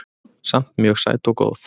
Samt mjög sæt og góð